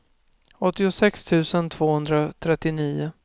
åttiosex tusen tvåhundratrettionio